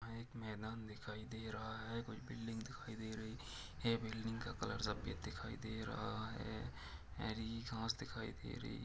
एक मैदान दिखाई दे रहा हैं कोई बिल्डिंग दिखाई दे रही हैं बिल्डिंग का कलर सफ़ेद दिखाई दे रहा है हरी घास दिखाई दे रही--